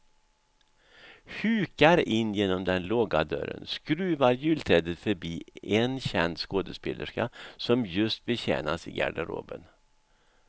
Hukar in genom den låga dörren, skruvar julträdet förbi en känd skådespelerska som just betjänas i garderoben.